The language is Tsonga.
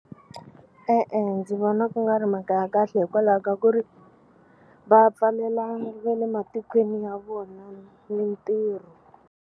E-e, ndzi vona ku nga ri mhaka ya kahle hikwalaho ka ku ri va pfalela ve le matikweni ya vona mitirho.